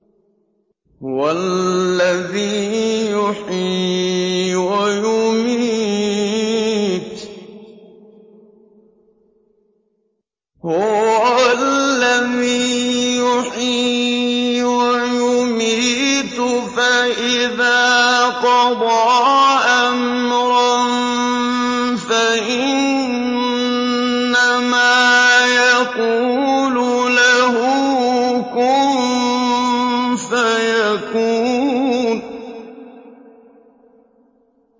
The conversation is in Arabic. هُوَ الَّذِي يُحْيِي وَيُمِيتُ ۖ فَإِذَا قَضَىٰ أَمْرًا فَإِنَّمَا يَقُولُ لَهُ كُن فَيَكُونُ